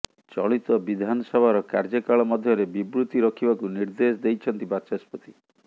ଚଳିତ ବିଧାନସଭାର କାର୍ଯ୍ୟକାଳ ମଧ୍ୟରେ ବିବୃତି ରଖିବାକୁ ନିର୍ଦ୍ଦେଶ ଦେଇଛନ୍ତି ବାଚସ୍ପତି